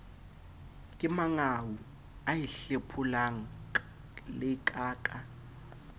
kemangau a e hlepholaka ka